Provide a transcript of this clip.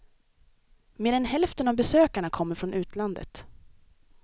Mer än hälften av besökarna kommer från utlandet.